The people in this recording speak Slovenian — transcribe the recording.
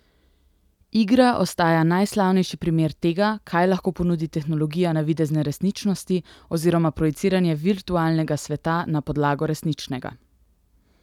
Igra ostaja najslavnejši primer tega, kaj lahko ponudi tehnologija navidezne resničnosti oziroma projiciranje virtualnega sveta na podlago resničnega.